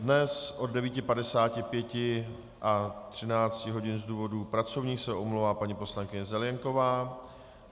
Dnes od 9.55 a 13 hodin z důvodů pracovních se omlouvá paní poslankyně Zelienková.